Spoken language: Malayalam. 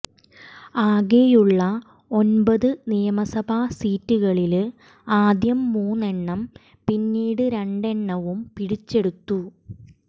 ആകെയുള്ള ഒന്പത് നിയമസഭാ സീറ്റുകളില് ആദ്യം മൂന്നെണ്ണവും പിന്നീട് രണ്ടെണ്ണവും പിടിച്ചെടുത്തു